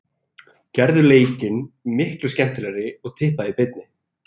Gerðu leikinn miklu skemmtilegri og tippaðu í beinni.